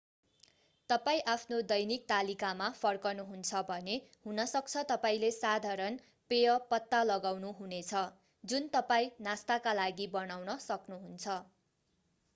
तपाईं आफ्नो दैनिक तालिकामा फर्कनुहुन्छ भने हुनसक्छ तपाईंले साधारण पेय पत्ता लगाउनु हुने छ जुन तपाईं नास्ताका लागि बनाउन सक्नुहुन्छ